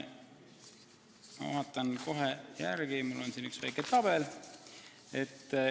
Ma vaatan kohe järele, mul on siin üks väike tabel.